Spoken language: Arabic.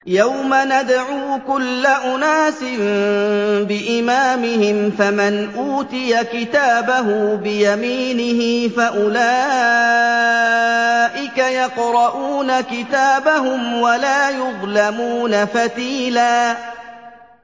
يَوْمَ نَدْعُو كُلَّ أُنَاسٍ بِإِمَامِهِمْ ۖ فَمَنْ أُوتِيَ كِتَابَهُ بِيَمِينِهِ فَأُولَٰئِكَ يَقْرَءُونَ كِتَابَهُمْ وَلَا يُظْلَمُونَ فَتِيلًا